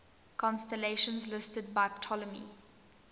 constellations listed by ptolemy